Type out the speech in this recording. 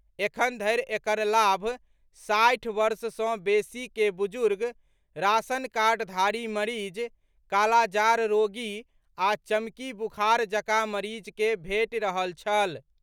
एखन धरि एकर लाभ साठि वर्ष सँ बेसी के बुजुर्ग, राशन कार्डधारी मरीज, कालाजार रोगी आ चमकी बुखार जकाँ मरीज केँ भेंटि रहल छल।